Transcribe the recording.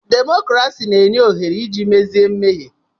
Demokrasi na-enye ohere iji mezie mmehie.